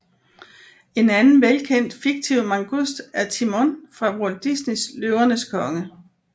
En anden velkent fiktiv mangust er Timon fra Walt Disneys Løvernes Konge